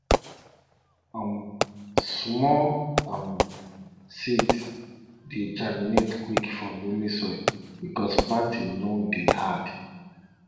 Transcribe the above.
um small um seeds dey germinate quick for loamy soil because planting no dey hard